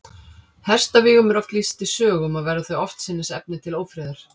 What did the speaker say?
Hestavígum er oft lýst í sögum, og verða þau oftsinnis efni til ófriðar.